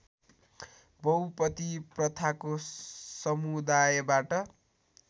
बहुपति प्रथाको समुदायबाट